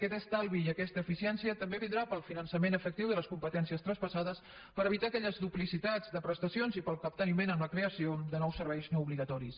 aquest estalvi i aquesta eficiència també vindrà pel finançament efectiu de les competències traspassades per evitar aquelles duplicitats de prestacions i pel capteniment en la creació de nous serveis no obligatoris